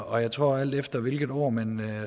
og jeg tror at alt efter hvilket år man